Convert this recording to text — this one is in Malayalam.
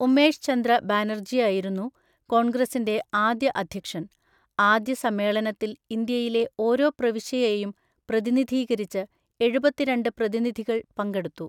ഉമേഷ് ചന്ദ്ര ബാനർജിയായിരുന്നു കോൺഗ്രസിന്‍റെ ആദ്യ അധ്യക്ഷൻ; ആദ്യ സമ്മേളനത്തില്‍ ഇന്ത്യയിലെ ഓരോ പ്രവിശ്യയെയും പ്രതിനിധീകരിച്ച് എഴുപത്തിരണ്ട് പ്രതിനിധികൾ പങ്കെടുത്തു.